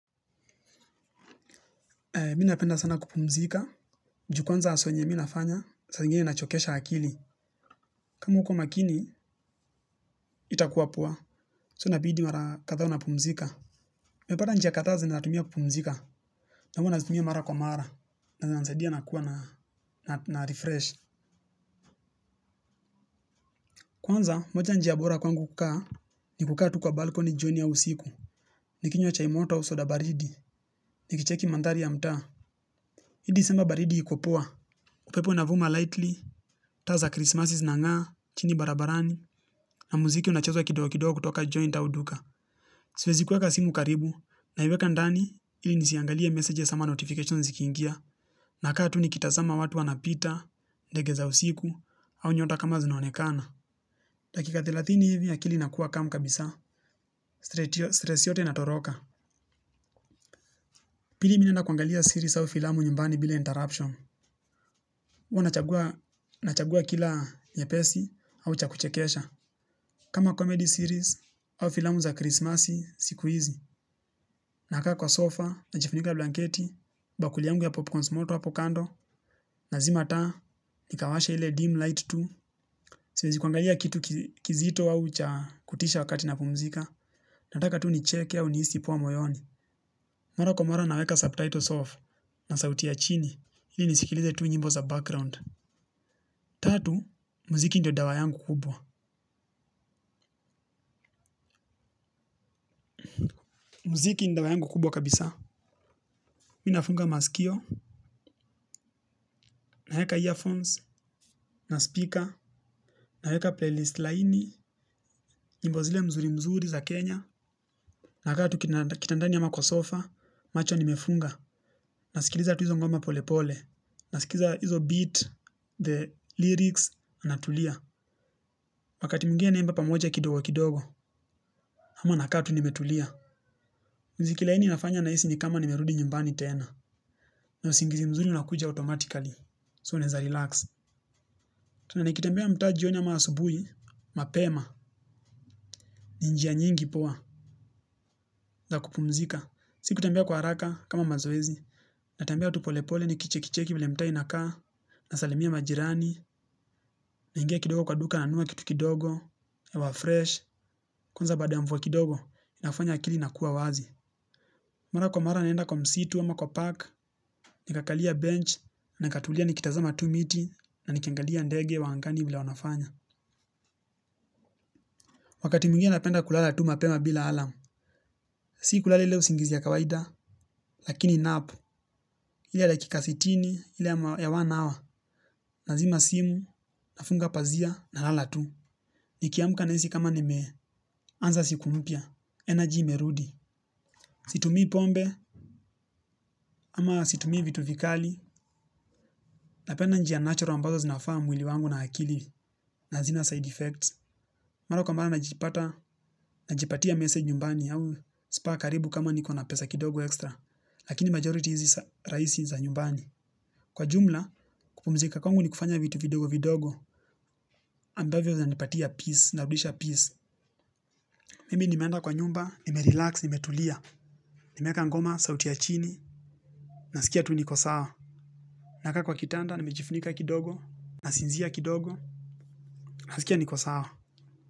Mimi napenda sana kupumzika. Juu kwanza hustle yenye mimi nafanya. Saa ingine inachokesha akili. Kama hauko makini, haitakuwa pua. So inabidi mara kadhaa unapumzika. Nimepata njia kadaa zenye natumia kupumzika. Na huwa nazitumia mara kwa mara. Na zinanisaidia nakuwa na refresh. Kwanza, moja njia bora kwangu kukaa. Ni kukaa tu kwa balkoni jioni ya auusiku. Nikinywa chai motoau soda baridi. Nikicheki mandhari ya mtaa. Hii disemba baridi iko poa. Upepo inavuma lightly. Taa krismasi zinanga. Chini barabarani. Na muziki unachezwa kidogo kidogo kutoka joint au duka. Siwezi kuweka simu karibu. Naiweka ndani ili nisiangalie messages sama notifications zikiingia. Nakaa tu nikitazama watu wanapita. Ndege za usiku au nyota kama zinaonekana. Dakika thelathini hivi akili nakuwa kamu kabisa. Stress yote inatoroka. Pili mimi naenda kuangalia series au filamu nyumbani bila Interruption huwa nachagua kila nyepesi au cha kuchekesha kama comedy series au filamu za Christmas siku hizi. Nakaa kwa sofa, najifunika blanketi, bakuli yangu ya popcorns moto hapo kando, nazima taa nikawasha ile dim light tu, siezi kuangalia kitu kizito au cha kutisha wakati napumzika, nataka tu nicheke au nihisi poa moyoni. Mara kwa mara naweka subtitles off, na sauti ya chini, ili nisikilize tu nyimbo za background. Tatu, muziki ndio dawa yangu kubwa. Mziki ndawayangu kubwa kabisa. Mi nafunga masikio, naeka earphones, na speaker, naeka playlist laini, nyimbo zile mzuri mzuri za Kenya. Nakaa tu kitandani ama kwa sofa, macho nimefunga, nasikiliza tu hizo ngoma pole pole. Nasikiliza hizo beat, the lyrics, natulia. Wakati mwingine naimba pamoja kidogo kidogo, ama nakaa tu nimetulia. Muziki laini inafanya nahisi ni kama nimerudi nyumbani tena. Na usingizi mzuri unakuja automatically, su naeza relax. Tu na nikitembea mtaa jioni ama asubui, mapema, ni njia nyingi poa, za kupumzika. Si kutembea kwa haraka kama mazoezi, natambea tu polepole ni kichekicheki vile mtaa inakaa, nasalimia majirani, naingia kidogo kwa duka nanua kitu kidogo, hewa fresh, kwanza bada ya mvua kidogo, inafanya akili inakuwa wazi. Mara kwa mara naenda kwa msitu ama kwa park, nikakalia bench, nikatulia nikitazama tu miti, na nikiangalia ndege wa angani venye wanafanya. Wakati mingine napenda kulala tu mapema bila alarm, si kulala ile usingizi ya kawaida, lakini nap, ile ya dakika sitini, ile ya one hour, nazima simu, nafunga pazia, nalala tu, nikiamka nahisi kama nimeanza siku mpya, energy imerudi, situmii pombe, ama situmii vitu vikali, napenda njia natural ambazo zinafaa mwili wangu na akili, na hazina side effects, mara kwa mara najipatia masaji nyumbani au spa karibu kama nikona pesa kidogo extra, lakini majority hizi rahisi za nyumbani. Kwa jumla, kupumzika kwangu ni kufanya vitu vidogo vidogo ambavyo zinanipatia peace, zinarudisha peace. Mimi nimeenda kwa nyumba, nimerelax, nimetulia. Nimeekaa ngoma sauti ya chini, nasikia tu niko saa nakaa kwa kitanda, nimejifunika kidogo, nasinzia kidogo, nasikia niko sawa.